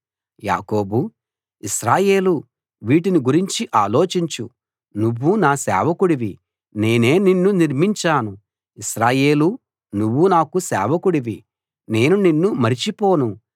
యాకోబూ ఇశ్రాయేలూ వీటిని గురించి ఆలోచించు నువ్వు నా సేవకుడివి నేనే నిన్ను నిర్మించాను ఇశ్రాయేలూ నువ్వు నాకు సేవకుడివి నేను నిన్ను మరచిపోను